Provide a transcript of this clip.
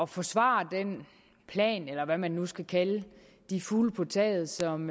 forsvare den plan eller hvad man nu skal kalde de fugle på taget som